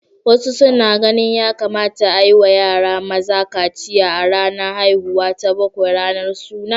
Wasu suna ganin ya kamata a yi wa yara maza kaciya a ranar haihuwa ta bakwai, ranar suna.